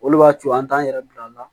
Olu b'a co an t'an yɛrɛ bila